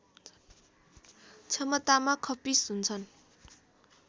क्षमतामा खप्पिस हुन्छन्